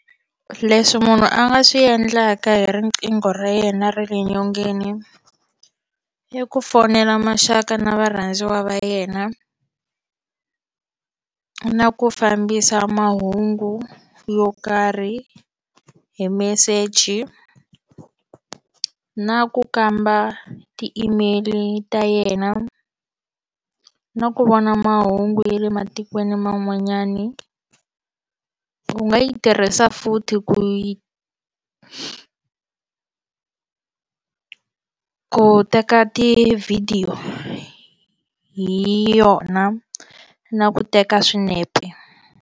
Leswi munhu a nga swi endlaka hi riqingho ra yena ra le nyongeni i ku fonela maxaka na varhandziwa va yena na ku fambisa mahungu yo karhi hi meseji na ku kamba ti-email ta yena na ku vona mahungu ya le matikweni man'wanyani u nga yi tirhisa futhi ku yi ku teka tivhidiyo hi yona na ku teka swinepe.